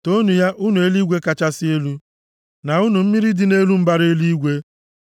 Toonu ya, unu eluigwe kachasị elu na unu mmiri dị nʼelu mbara eluigwe.